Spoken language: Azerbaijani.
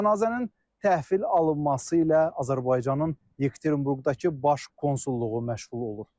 Cənazənin təhvil alınması ilə Azərbaycanın Yekaterinburqdakı baş konsulluğu məşğul olur.